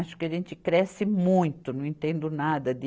Acho que a gente cresce muito, não entendo nada de